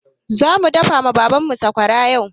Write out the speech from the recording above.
Zamu daka ma Baban mu sakwara yau.